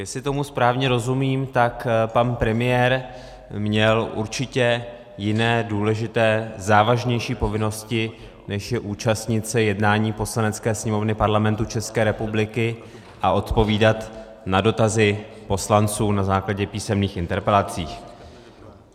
Jestli tomu správně rozumím, tak pan premiér měl určitě jiné důležité, závažnější povinnosti, než je účastnit se jednání Poslanecké sněmovny Parlamentu České republiky a odpovídat na dotazy poslanců na základě písemných interpelací.